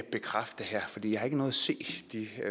bekræfte